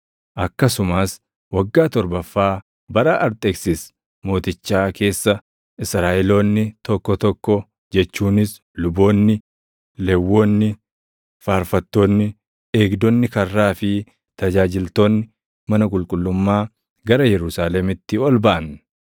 Akkasumas waggaa torbaffaa bara Arxeksis Mootichaa keessa Israaʼeloonni tokko tokko jechuunis luboonni, Lewwonni, faarfattoonni, eegdonni karraa fi tajaajiltoonni mana qulqullummaa gara Yerusaalemitti ol baʼan.